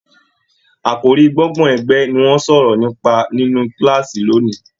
Àkòrí gbọ́ngbọ̀n ẹgbẹ ni wọn sọ̀rọ̀ nípa nínú kilaasi lóni